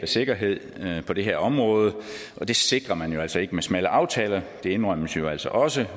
sikkerhed på det her område og det sikrer man altså ikke med smalle aftaler det indrømmes jo altså også